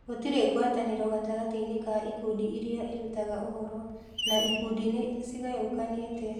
Gũtirĩ ngwatanĩro gatagatĩ-inĩ ka ikundi iria irutaga ũhoro, na ikundi nĩ ciĩgayũkanĩte.